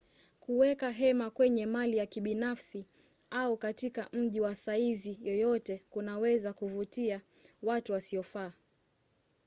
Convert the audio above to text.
kuweka hema kwenye mali ya kibinafsi au katika mji wa saizi yoyote kunaweza kuvutia watu wasiofaa